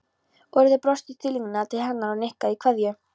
Urður brosti stillilega til hennar og nikkaði í kveðju